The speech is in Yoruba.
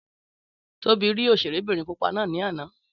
Tóbi rí òṣèré bìnrin pupa náà lánàá.